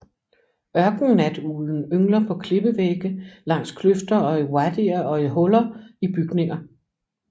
Ørkennatuglen yngler på klippevægge langs kløfter og wadier og i huller i bygninger